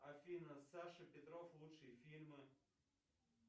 афина саша петров лучшие фильмы